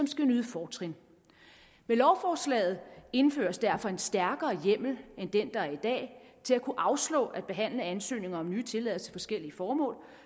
skal nyde fortrin med lovforslaget indføres derfor en stærkere hjemmel end den der er i dag til at kunne afslå at behandle ansøgninger om nye tilladelser til forskellige formål